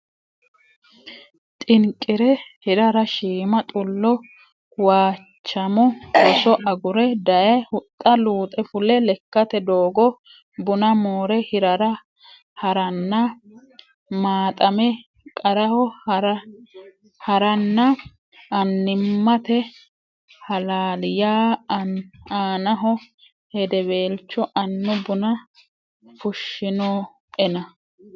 xinqi re hirara shiima xullo Waachamo roso agure daye huxxa luuxe fule lekkate doogo buna moore hirara ha ranna maaxame qarraho ha ranna annimmate halaali ya aanaho hedeweelcho annu buna fushshinoena !